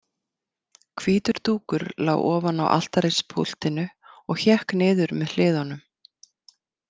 Hvítur dúkur lá ofan á altarispúltinu og hékk niður með hliðunum.